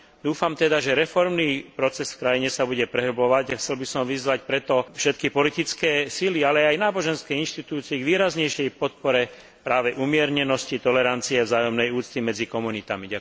Dúfam teda, že reformný proces v krajine sa bude prehlbovať a chcel by som preto vyzvať všetky politické sily, ale aj náboženské inštitúcie k výraznejšej podpore práve umiernenosti, tolerancie a vzájomnej úcty medzi komunitami.